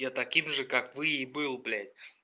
я таким же как вы и был блять